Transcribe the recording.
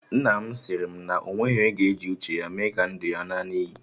Nna m sịrị na o nweghị onye ga-eji uche ya mee ka ndụ ya ṅaa n'iyi